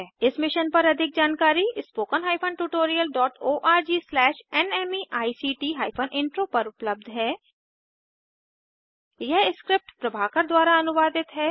इस मिशन पर अधिक जानकारी spoken hyphen tutorial dot O R G slash NMEICT hyphen intro पर उपलब्ध है यह स्क्रिप्ट प्रभाकर द्वारा अनुवादित है